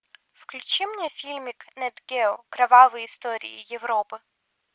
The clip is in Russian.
включи мне фильмик нат гео кровавые истории европы